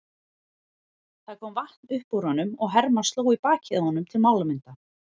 Það kom vatn upp úr honum og Hermann sló í bakið á honum til málamynda.